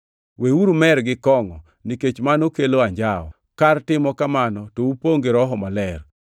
Weuru mer gi kongʼo nikech mano kelo anjawo. Kar timo kamano to upongʼ gi Roho Maler.